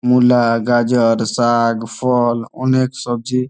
মূলা গাজর শাগ ফল অনেক সবজি।